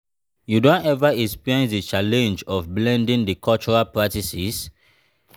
you don ever experience di challenge of blending di cultural practices?